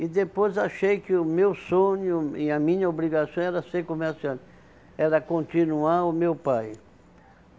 E depois achei que o meu sonho e a minha obrigação era ser comerciante era continuar o meu pai.